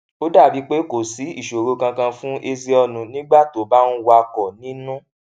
ó dà bíi pé kò sí ìṣòro kankan fún ezeonu nígbà tó bá ń wakò nínú